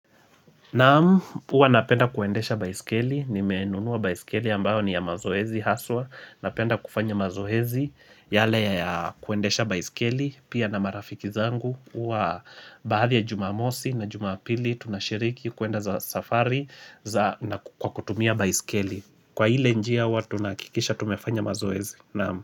Naam huwa napenda kuendesha baiskeli, nimenunuwa baiskeli ambao ni ya mazoezi haswa, napenda kufanya mazoezi yale ya kuendesha baiskeli, pia na marafiki zangu, huwa baada ya jumamosi na jumapili tunashiriki kuenda za safari na ku kutumia baiskeli. Kwa ile njia huwa tunakikisha tumefanya mazoezi. Naam.